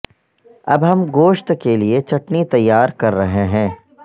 اب ہم گوشت کے لئے چٹنی تیار کر رہے ہیں